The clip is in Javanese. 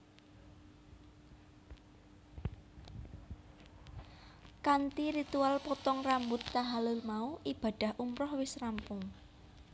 Kanthi ritual potong rambut tahalul mau ibadah umrah wis rampung